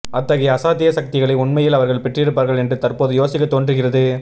அத்தகைய அசாத்திய சக்திகளை உண்மையில் அவர்கள் பெற்றிருப்பார்கள் என்று தற்போது யோசிக்க தோன்றுகிறது